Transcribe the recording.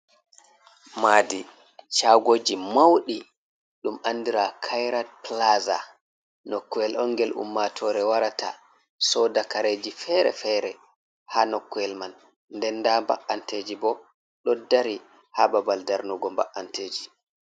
maadi shagoji mauɗi ɗum andira, Kairat pilaza, nokkuyel on ngel ummaatore warata sooda kareji fere-fere, haa nokkuyel man, nden nda mba’anteji ɓo ɗo dari haa babal darnugo mba’anteji.